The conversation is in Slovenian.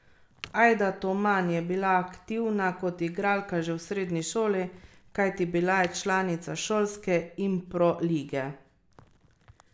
Ajda Toman je bila aktivna kot igralka že v srednji šoli, kajti bila je članica Šolske impro lige.